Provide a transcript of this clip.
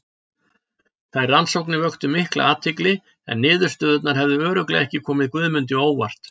Þær rannsóknir vöktu mikla athygli en niðurstöðurnar hefðu örugglega ekki komið Guðmundi á óvart.